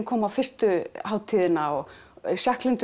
kom á fyrstu hátíðina og